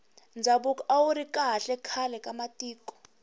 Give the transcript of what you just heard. ndhavuko awuri kahle khale ka matiko